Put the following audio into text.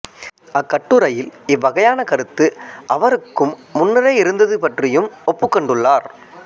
அக்கட்டுரையில் இவ்வகையான கருத்து அவருக்கும் முன்னரே இருந்தது பற்றியும் ஒப்புக்கொண்டுள்ளார்